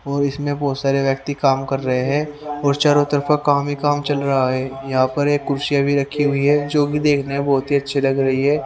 और इसमें बहोत सारे व्यक्ति काम कर रहे हैं और चारों तरफा काम ही काम चल रहा है यहां पर एक कुर्सी अभी रखी हुई है जो भी देखना है बहोत ही अच्छी लग रही है।